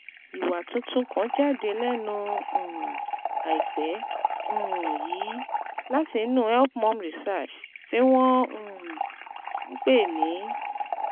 Ìwà tuntun kan jáde lẹ́nu um àìpẹ́ um yìí láti inú HelpMum Research tí wọ́n um ń pè ní